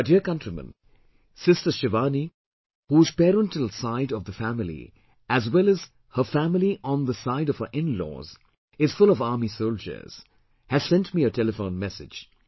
My dear countrymen, sister Shivani, whose parental side of the family as well as her family on the side of her in laws is full of army soldiers, has sent me a telephone message